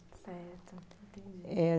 Certo, entendi. Eh